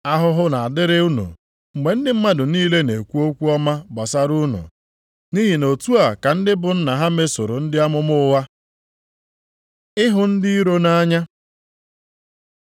Ahụhụ na-adịrị unu mgbe ndị mmadụ niile na-ekwu okwu ọma gbasara unu, nʼihi na otu a ka ndị bụ nna ha mesoro ndị amụma ụgha.” Ịhụ ndị iro nʼanya